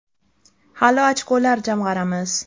Hali ochkolar jamg‘aramiz.